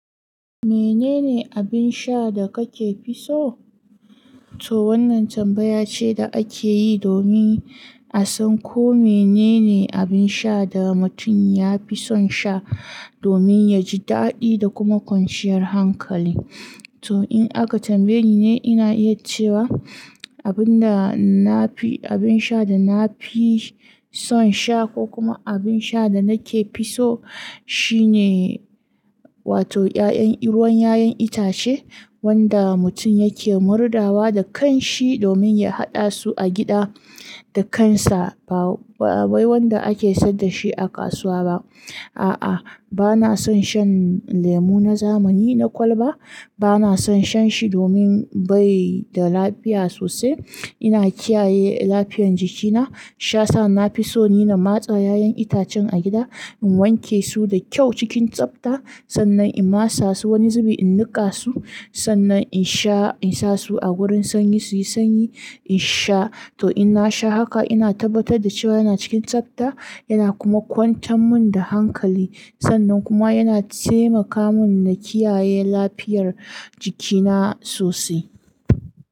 Menene abin sha da kake fi so? To wannan tambaya ce da ake yi domin a san ko menene abin sha da mutum ya fi son sha domin yaji daɗi da kuma kwanciyar hankali. To in aka tambaye ni ne ina iya cewa abin da nafi abin sha da nafi son sha ko kuma abin sha da nake fi so shine wato 'ya'yan ruwan 'ya'yan itace wanda mutum yake murɗawa da kanshi domin ya haɗa su a gida da kansa ba, ba wanda ake sayar da shi a kasuwa ba. A'a bana son shan lemu na zamani na kwalba bana son shan shi domin bai da lafiya sosai. Ina kiyaye lafiyar jikina shiya sa nafi so ni na matse 'ya'yan itacen a gida in wanke su da kyau cikin tsafta sannan in masa su wani zubi in niƙa su sannan in sha in sa su a wurin sanyi su yi sanyi in sha. To in na sha haka ina tabbatar da cewa yana cikin tsafta yana kuma kwantan mun da hankali sannan kuma yana taimaka mun na kiyaye lafiyar jikina sosai.